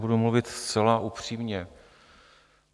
Budu mluvit zcela upřímně.